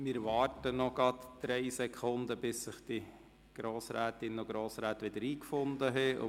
Wir warten gerade noch kurz, bis sich die Grossrätinnen und Grossräte wieder eingefunden haben.